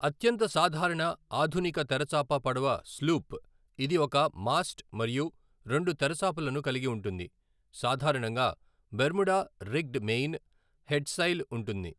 అత్యంత సాధారణ ఆధునిక తెరచాప పడవ స్లూప్, ఇది ఒక మాస్ట్ మరియు రెండు తెరచాపలను కలిగి ఉంటుంది, సాధారణంగా బెర్ముడా రిగ్డ్ మెయిన్, హెడ్సైల్ ఉంటుంది.